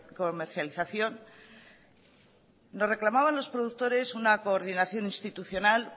comercialización nos reclamaban los productores una coordinación institucional